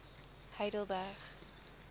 heidelberg